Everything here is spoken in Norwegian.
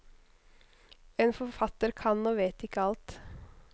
En forfatter kan og vet ikke alt.